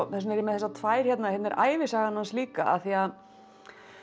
þess vegna er ég með þessar tvær hérna hérna er ævisagan hans líka af því að